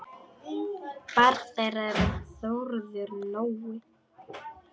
Barn þeirra er Þórður Nói.